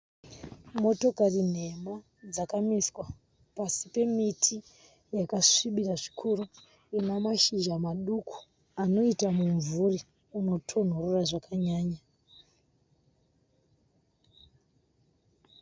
Motokari nhema dzakamiswa pasi pemiti yakasvibira zvikuru inamashizha madiki anoita mumvuri unotonhorera zvakanyanya.